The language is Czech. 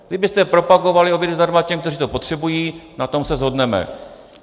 Kdybyste propagovali obědy zdarma těm, kteří to potřebují, na tom se shodneme.